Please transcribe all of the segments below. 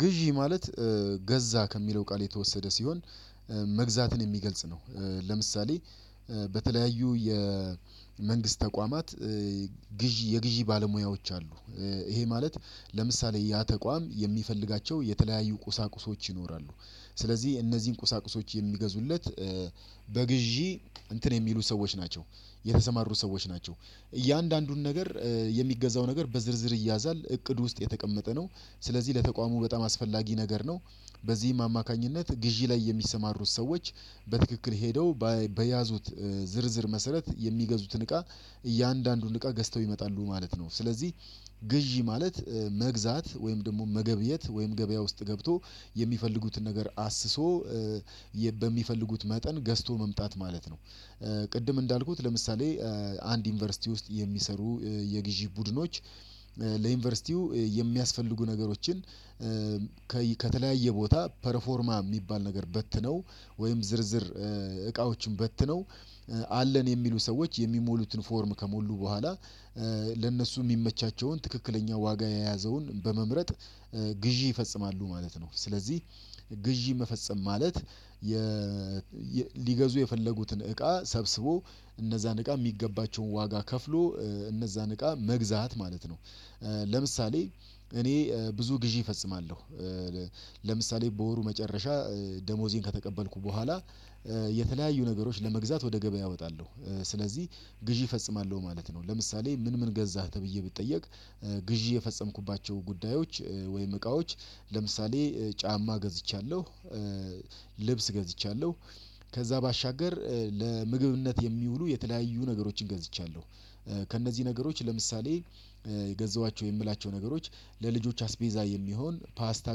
ግዢ ማለት ገዛ ከሚለው ቃል የተወሰደ ሲሆን መግዛትን የሚገልጽ ነው። ለምሳሌ በተለያዩ የመንግስት ተቋማት ግዢ የግዢ ባለሙያዎች አሉ። ይሄ ማለት ለምሳሌ ያ ተቋም የሚፈልጋቸው የተለያዩ ቁሳቁሶች ይኖራሉ። ስለዚህ እነዚህን ቁሳቁሶች የሚገዙለት በግዢ እንትን የሚሉ ሰዎች ናቸው የተሰማሩ ሰዎች ናቸው። እያንዳንዱን ነገር የሚገዛው ነገር በዝርዝር ይያዛል እቅድ ውስጥ የተቀመጠ ነው። ስለዚህ ለተቋሙ በጣም አስፈላጊ ነገር ነው። በዚህም አማካኝነት ግዢ ላይ የሚሰማሩት ሰዎች በትክክል ሄደው በያዙት ዝርዝር መሰረት የሚገዙትን እቃ እያንዳንዱን እቃ ገዝተው ይመጣሉ ማለት ነው። ስለዚህ ግዢ ማለት መግዛት ወይም ደግሞ መገብየት ወይም ገበያ ውስጥ ገብቶ የሚፈልጉትን ነገር አስሶ በሚፈልጉት መጠን ገዝቶ መምጣት ማለት ነው። ቅድም እንዳልኩት ለምሳሌ አንድ ዩኒቨርሲቲ ውስጥ የሚሰሩ የግዢ ቡድኖች። ለዩኒቨርሲቲው የሚያስፈልጉ ነገሮችን ከተለያየ ቦታ ፐርፎርማ ሚባል ነገር በትነው ወይም ዝርዝር እቃዎችን በትነው አለን የሚሉ ሰዎች የሚሞሉትን ፎርም ከሞሉ በኋላ ለእነሱ የሚመቻቸውን ትክክለኛ ዋጋ የያዘውን በመምረጥ ግዢ ይፈጽማሉ ማለት ነው። ስለዚህ ግዢ መፈጸም ማለት ሊገዙ የፈለጉትን እቃ ሰብስቦ እነዛን እቃ ሚገባቸውን ዋጋ ከፍሎ እነዛ ንቃ መግዛት ማለት ነው። ለምሳሌ እኔ ብዙ ግዢ እፈጽማለሁ። ለምሳሌ በወሩ መጨረሻ ደሞዜን ከተቀበልኩ በኋላ የተለያዩ ነገሮች ለመግዛት ወደ ገበያ እወጣለሁ ስለዚህ ግዢ እፈጽማለሁ ማለት ነው። ለምሳሌ ምን ምን ገዛህ? ተብዬ ብትጠየቅ ግዢ የፈጸምኩባቸው ጉዳዮች ወይም እቃዎች ለምሳሌ ጫማ ገዝቻለሁ። ልብስ ገዝቻለሁ። ከዛ ባሻገር ለምግብነት የሚውሉ የተለያዩ ነገሮችን ገዝቻለሁ። ከእነዚህ ነገሮች ለምሳሌ የገዛኋቸው የምላቸው ነገሮች ለልጆች አስቤዛ የሚሆን ፓስታ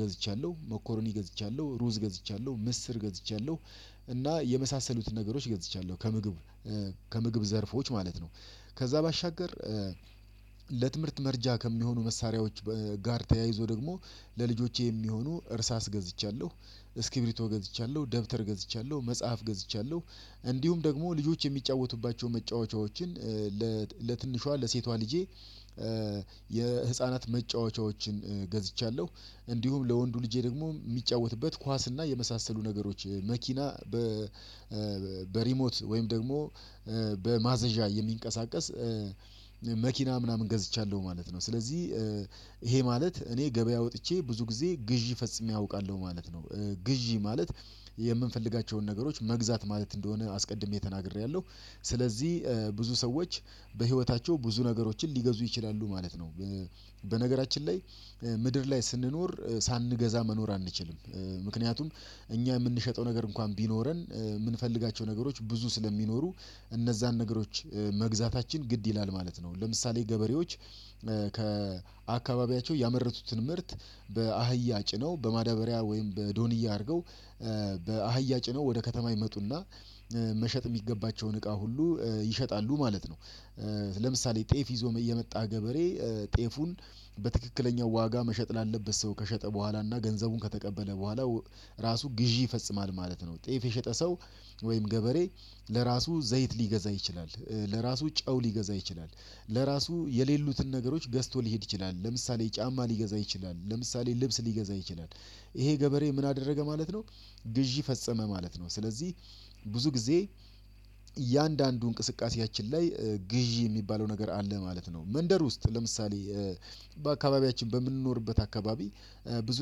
ገዝቻለሁ መኮርኒ ገዝቻለሁ ሩዝ ገዝቻለሁ ምስር ገዝቻለሁ። እና የመሳሰሉትን ነገሮች ገዝቻለሁ ከምግብ ከምግብ ዘርፎች ማለት ነው። ከዛ ባሻገር ለትምህርት መረጃ ከሚሆኑ መሳሪያዎች ጋር ተያይዞ ደግሞ ለልጆቼ የሚሆኑ እርሳስ ገዝቻለሁ። እስኪብሪቶ ገዝቻለሁ ደብተር ገዝቻለሁ መጽሐፍ ገዝቻለሁ። እንዲሁም ደግሞ ልጆች የሚጫወቱባቸውን መጫወቻዎችን ለትንሿ ለሴቷ ልጄ የህፃናት መጫወቻዎችን ገዝቻለሁ። እንዲሁም ለወንዱ ልጄ ደግሞ የሚጫወትበት ኳስ እና የመሳሰሉ ነገሮች መኪና በሪሞት ወይም ደግሞ በማዘዣ የሚንቀሳቀስ መኪና ምናምን ገዝቻለሁ ማለት ነው። ስለዚህ ይሄ ማለት እኔ ገበያ ወጥቼ ብዙ ጊዜ ግዢ ፈጽሜ አውቃለሁ ማለት ነው። ግዢ ማለት የምንፈልጋቸውን ነገሮች መግዛት ማለት እንደሆነ አስቀድሜ ተናግሬያለሁ። ስለዚህ ብዙ ሰዎች በህይወታቸው ብዙ ነገሮችን ሊገዙ ይችላሉ ማለት ነው። በነገራችን ላይ ምድር ላይ ስንኖር ሳንገዛ መኖር አንችልም። ምክንያቱም እኛ የምንሸጠው ነገር እንኳን ቢኖረን ምንፈልጋቸው ነገሮች ብዙ ስለሚኖሩ እነዛን ነገሮች መግዛታችን ግድ ይላል ማለት ነው። ለምሳሌ ገበሬዎች ከአካባቢያቸው ያመረቱትን ምርት በአህያ ጭነው በማዳበሪያ ወይም በዶንያ አድርገው በአህያ ጭነው ወደ ከተማ ይመጡና መሸጥ ሚገባቸውን እቃ ሁሉ ይሸጣሉ ማለት ነው። ለምሳሌ ጤፍ ይዞ የመጣ ገበሬ ጤፉን በትክክለኛው ዋጋ መሸጥ ላለበት ሰው ከሸጠ በኋላ እና ገንዘቡን ከተቀበለ በኋላ ራሱ ግዢ ይፈጽማል ማለት ነው። ጤፍ የሸጠ ሰው ወይም ገበሬ ለራሱ ዘይት ሊገዛ ይችላል። ለራሱ ጨው ሊገዛ ይችላል። ለራሱ የሌሉትን ነገሮች ገዝቶ ሊሄድ ይችላል ለምሳሌ ጫማ ሊገዛ ይችላል ለምሳሌ ልብስ ሊገዛ ይችላል። ይሄ ገበሬ ምን አደረገ ማለት ነው? ግዢ ፈጸመ ማለት ነው። ስለዚህ ብዙ ጊዜ እያንዳንዱ እንቅስቃሴያችን ላይ ግዢ የሚባለው ነገር አለ ማለት ነው። መንደር ውስጥ ለምሳሌ በአካባቢያችን በምንኖርበት አካባቢ ብዙ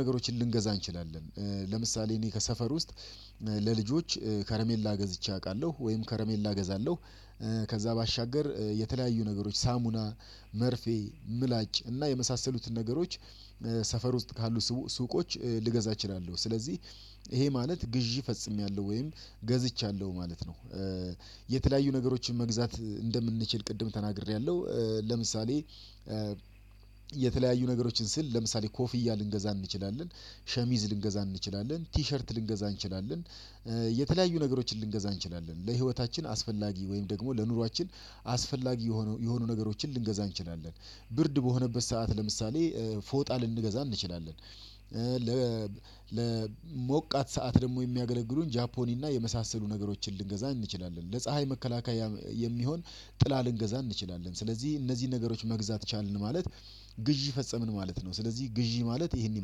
ነገሮችን ልንገዛ እንችላለን። ለምሳሌ እኔ ከሰፈር ውስጥ ለልጆች ከረሜላ ገዝቼ አቃለሁ ወይም ከረሜላ እገዛለው። ከዛ ባሻገር የተለያዩ ነገሮች ሳሙና መርፌ ምላጭ እና የመሳሰሉትን ነገሮች ሰፈር ውስጥ ካሉ ሱቆች ልገዛ እችላለሁ። ስለዚህ ይሄ ማለት ግዢ ፈጽሜያለሁ ወይም ገዝቻለሁ ማለት ነው። የተለያዩ ነገሮችን መግዛት እንደምንችል ቅድም ተናግሬያለሁ። ለምሳሌ የተለያዩ ነገሮችን ስል ለምሳሌ ኮፍያ ልንገዛ እንችላለን። ሸሚዝ ልንገዛ እንችላለን ቲሸርት ልንገዛ እንችላለን። የተለያዩ ነገሮችን ልንገዛ እንችላለን ለህይወታችን አስፈላጊ ወይም ደግሞ ለኑሯችን አስፈላጊ የሆኑ የሆኑ ነገሮችን ልንገዛ እንችላለን። ብርድ በሆነበት ሰዓት ለምሳሌ ፎጣ ልንገዛ እንችላለን። ለሞቃት ሰዓት ደግሞ የሚያገለግሉን ጃፖኒ እና የመሳሰሉ ነገሮችን ልንገዛኝ እንችላለን ለፀሀይ መከላከያ የሚሆን ጥላ ልንገዛ እንችላለን ስለዚህ እነዚህ ነገሮች መግዛት ቻልን ማለት ግዢ ፈጸምን ማለት ነው። ስለዚህ ግዢ ማለት ይሄንን